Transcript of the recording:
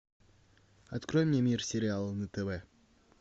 открой мне мир сериала на тв